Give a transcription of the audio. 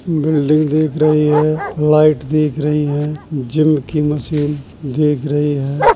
Building दीख रही है। लाइट दीख रही है। जिम की मशीन दीख रही है।